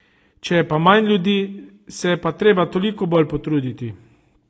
Če je pa manj ljudi, se je pa treba toliko bolj potruditi.